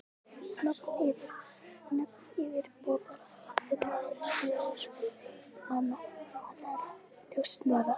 Nöfn yfirboðara þinna, aðstoðarmanna, annarra njósnara.